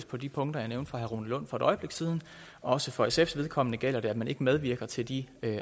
på de punkter jeg nævnte for herre rune lund for et øjeblik siden og også for sfs vedkommende gælder det at man ikke medvirker til de